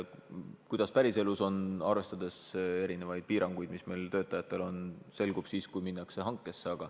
Kuidas päriselus on, arvestades piiranguid, mis meil on, see selgub siis, kui minnakse hankesse.